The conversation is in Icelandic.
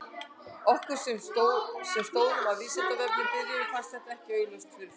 Okkur sem stóðum að Vísindavefnum í byrjun fannst þetta ekki augljóst fyrir fram.